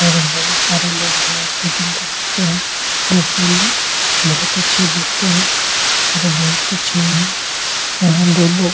और बोहोत सारे लोग हेयर कटिंग करते है। ये सैलून बोहोत अच्छे देखते है। और बोहोत अच्छे है। यहां दो लोग --